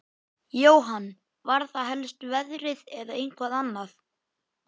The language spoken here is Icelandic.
Jóhann: Var það helst veðrið eða eitthvað annað?